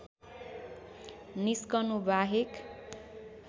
निस्कनु बाहेक